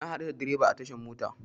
Na haɗu da dreban a tashar mota.